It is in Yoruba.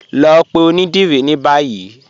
Lọ pẹ̀ ọ̀nidírí ni báyì.